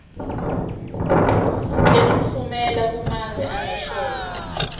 tekutfumela kumave angesheya